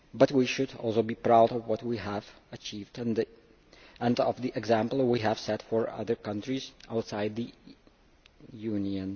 We should, however, be proud of what we have achieved and of the example we have set for other countries outside the Union.